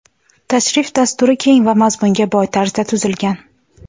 Tashrif dasturi keng va mazmunga boy tarzda tuzilgan.